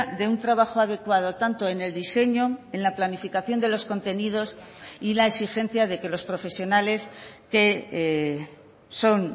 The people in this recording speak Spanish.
de un trabajo adecuado tanto en el diseño en la planificación de los contenidos y la exigencia de que los profesionales que son